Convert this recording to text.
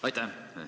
Aitäh!